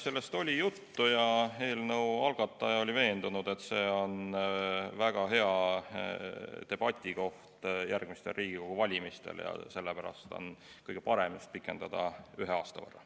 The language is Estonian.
Sellest oli juttu ja eelnõu algataja oli veendunud, et see on väga hea debatikoht järgmistel Riigikogu valimistel ja sellepärast on kõige parem just pikendada ühe aasta võrra.